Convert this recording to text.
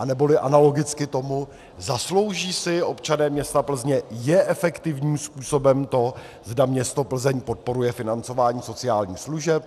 Anebo analogicky tomu: Zaslouží si občané města Plzně, je efektivním způsobem to, zda město Plzeň podporuje financování sociálních služeb?